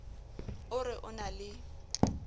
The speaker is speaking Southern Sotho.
o re o na le